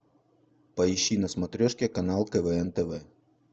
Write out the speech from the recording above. поищи на смотрешке канал квн тв